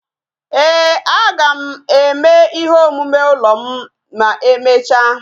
Ee, aga m eme ihe omume ụlọ m na-emecha